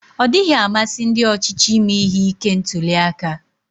Ọdịghị amasị ndi ochịchị ime ihe ike ntuliaka.